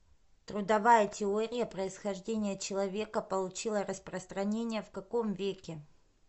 трудовая теория происхождения человека получила распространение в каком веке